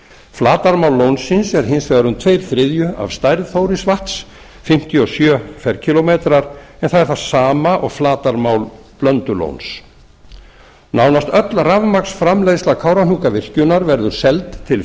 flatarmál lónsins er hins vegar um tveir þriðju af stærð þórisvatns fimmtíu og sjö ferkílómetrar en það er það sama og flatarmál blöndulóns nánast öll framleiðsla kárahnjúkavirkjunar verður seld til